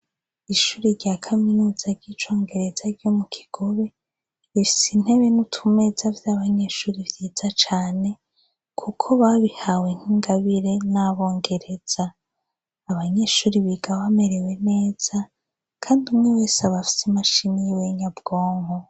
Ishuri rya kaminuza ry'icongereza ryo mu gigobe ifisa intebe n'utumeza vy'abanyeshuri vyiza cane, kuko babihawe nk'ingabire n'abongereza abanyeshuri bigawamerewe neza, kandi umwe wese abafise imashin'i yiwenyabwonko.